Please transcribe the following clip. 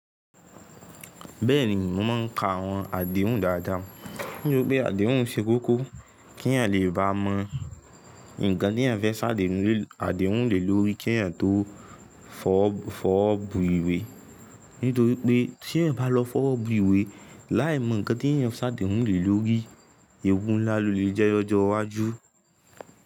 Bẹ́ẹ̀ni mo máa ń ka àwọn àdéhùn dáadáa, nítorí pé àdéhùn ṣe kókó kí èyàn lè bá mọ ǹkan tí èyàn fẹ́ ṣàdéhùn lé lórí kí èyàn tó fọ́bù ìwé. Nítorí pé tí èyàn bá lọ fọ́bù ìwé láì mọ ǹkan tí èyàn sẹ́ ṣàdéhùn lé lórí, ewu ńlá lọ lè jẹ́ ọjọ́ iwájú.